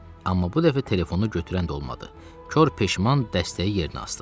Amma bu dəfə telefonu götürən də olmadı, kor peşman dəstəyi yerinə asdım.